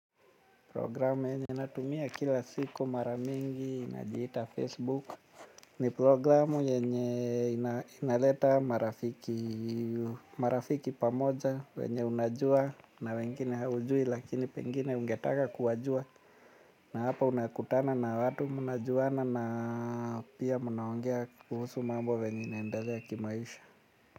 Programu yenye natumia kila siku maramingi inajiita Facebook. Ni programu yenye inaleta marafiki pamoja. Wenye unajua na wengine haujui lakini pengine ungetaka kuwajua. Na hapa unakutana na watu mnajuana na pia mnaongea kuhusu mambo venye inaendalea kimaisha.